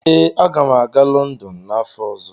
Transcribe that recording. Ee, aga m aga Lọndọn n'afọ ọzọ.